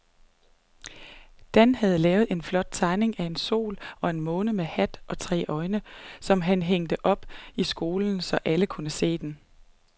Dan havde lavet en flot tegning af en sol og en måne med hat og tre øjne, som blev hængt op i skolen, så alle kunne se den.